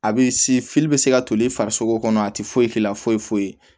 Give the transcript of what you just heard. A bɛ bɛ se ka toli farisoko kɔnɔ a tɛ foyi k'i la foyi foyi